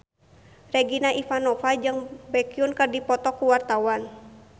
Regina Ivanova jeung Baekhyun keur dipoto ku wartawan